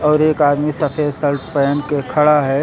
और एक आदमी सफेद सल्ट पहन के खड़ा है।